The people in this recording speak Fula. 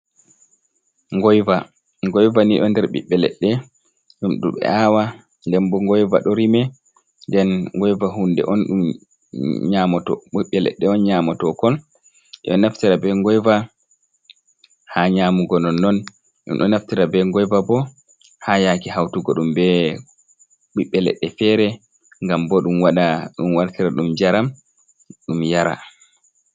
Ngoiva" ngoiva ni do nder bibbe ledde ɗum ɗo ɓe awa ɗen bo ngoiva do rime, den ngoiva hunde nyamo ɓiɓbe leɗɗe on nyamoto kon ɓeɗo naftira be ngoiva ha nyamugo non, non ɗum ɗo naftira be ngoiva bo ha yake hautugo ɗum be ɓiɓɓe leɗɗe fere ngam bo ɗum waɗa ɗum wartira ɗum njaram ɗum yara.